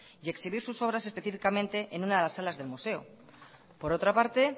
y exhibir sus obras específicamente en una de las salas del museo por otra parte